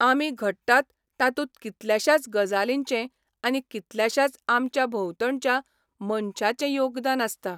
आमी घडटात तातूंत कितल्याशाच गजालींचें आनी कितल्याशाच आमच्या भोवतणच्या मनशांचें योगदान आसता.